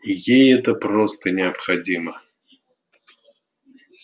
ей это просто необходимо